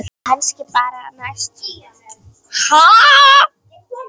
Kannski bara næst, ha!